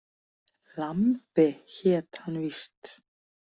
Lambi hét hann víst.